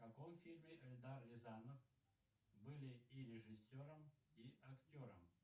в каком фильме эльдар рязанов были и режиссером и актером